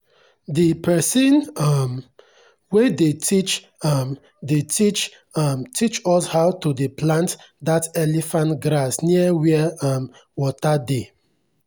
the pesin um wey dey teach um dey teach um teach us how to dey plant that elephant grass near where um water dey.